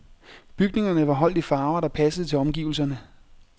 Bygningerne var holdt i farver, der passede til omgivelserne.